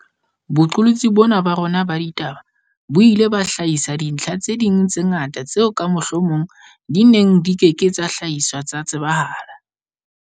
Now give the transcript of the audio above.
Boqolotsi bona ba rona ba ditaba bo ile ba hlahisa dintlha tse ding tse ngata tseo ka mohlomong di neng di ke ke tsa hlahiswa tsa tsebahala.